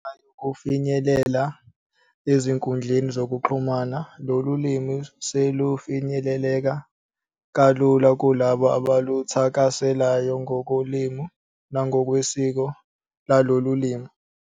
Ngenxa yokufinyelela ezinkundleni zokuxhumana, lolu limi selufinyeleleka kalula kulabo abaluthakaselayo ngokolimi nangokwesiko lolu limi.